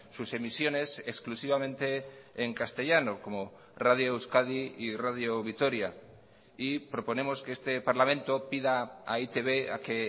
sus emisiones exclusivamente en castellano como radio euskadi y radio vitoria y proponemos que este parlamento pida a e i te be a que